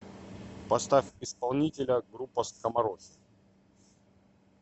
поставь исполнителя группа скоморохи